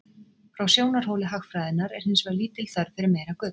frá sjónarhóli hagfræðinnar er hins vegar lítil þörf fyrir meira gull